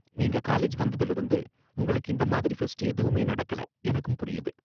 நீங்க காலேஜ் வந்ததுல இருந்து உங்களுக்கு இந்த மாதிரி ஃபெஸ்ட் எதுவுமே நடக்கல, எனக்கும் புரியுது.